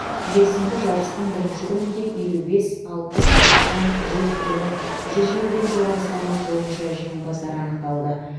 жексенбі жарыстың бірінші күнінде елу бес алпыс тоқсан жүз және жүз келіден жоғары салмақ бойынша жеңімпаздар анықталды